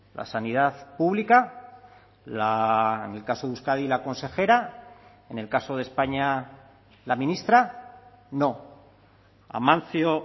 la sanidad pública en el caso de euskadi la consejera en el caso de españa la ministra no amancio